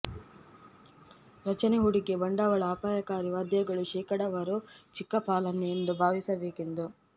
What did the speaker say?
ರಚನೆ ಹೂಡಿಕೆ ಬಂಡವಾಳ ಅಪಾಯಕಾರಿ ವಾದ್ಯಗಳು ಶೇಕಡಾವಾರು ಚಿಕ್ಕ ಪಾಲನ್ನು ಎಂದು ಭಾವಿಸಬೇಕೆಂದು